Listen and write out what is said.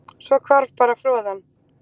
Svo hvarf bara froðan